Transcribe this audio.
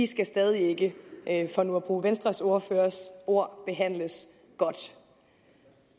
skal stadig ikke for nu at bruge venstres ordførers ord behandles godt